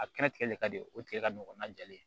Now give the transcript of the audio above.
A kɛra tigɛli ka di o tigɛ ka nɔgɔ n'a jalen